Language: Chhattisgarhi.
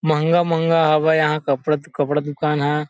महंगा-महंगा हवय यहाँ कपड़ा -कपड़ा दुकान ह ।